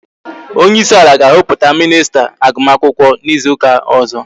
Onyeisi ala ga-ahọpụta minista agụm akwụkwọ n'izu ụka ọzọ